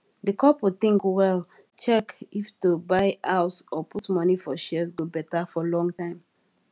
di couple think well check if to buy house or put money for shares go better for long time